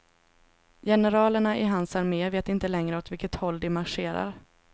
Generalerna i hans arme vet inte längre åt vilket håll de marscherar.